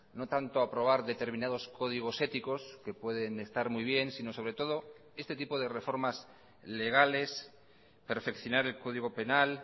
no tanto aprobar determinados códigos éticos que pueden estar muy bien sino sobre todo este tipo de reformas legales perfeccionar el código penal